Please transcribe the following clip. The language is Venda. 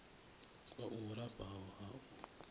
kwa u lafha ha u